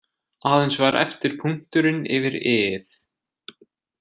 Aðeins var eftir punkturinn yfir i- ið.